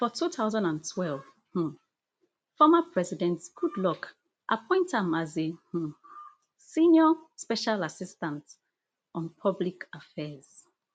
for two thousand and twelve um former president goodluck appoint am as a um senior special assistant on public affairs